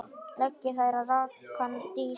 Leggið þær á rakan disk.